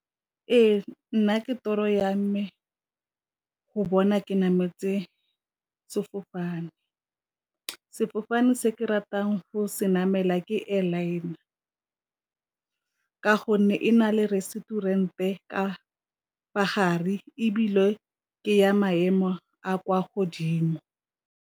Ee, nna ke toro ya me go bona ke namele sefofane, sefofane se ke ratang go se namela ke ka gonne e na le restaurant-e ka fa gare ebile ke ya maemo a kwa godimo.